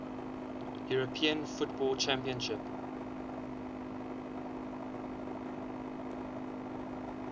european football championship